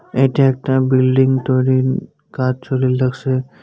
এইটা একটা বিল্ডিং তৈরির কাজ চলিল লাগছে।